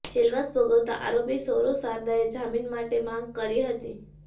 જેલવાસ ભોગવતા આરોપી સૌરવ શારદાએ જામીન માટે માંગ કરી હતી